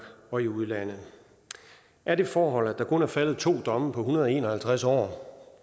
og i udlandet er det forhold at der kun er faldet to domme på en hundrede og en og halvtreds år